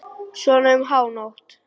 Svona um hánótt.